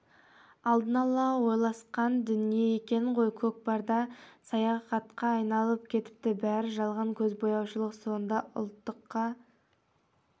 алдын ала ойласқан дүние екен ғой көкпарда саясатқа айналып кетіпті бәрі жалған көзбояушылық сонда ұлттыққа